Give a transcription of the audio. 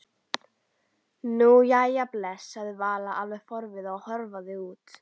Nú, jæja bless sagði Vala alveg forviða og hörfaði út.